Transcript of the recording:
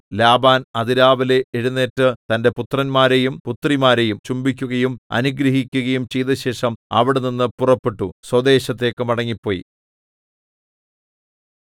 Laban അതിരാവിലെ എഴുന്നേറ്റ് തന്റെ പുത്രന്മാരെയും പുത്രിമാരെയും ചുംബിക്കുകയും അനുഗ്രഹിക്കുകയും ചെയ്തശേഷം അവിടെനിന്നു പുറപ്പെട്ടു സ്വദേശത്തേക്കു മടങ്ങിപ്പോയി